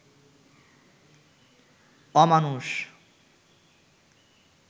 অমানুষ